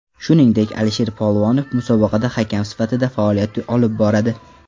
Shuningdek, Alisher Polvonov musobaqada hakam sifatida faoliyat olib boradi.